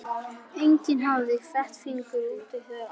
Enginn hafði fett fingur út í þær aðferðir.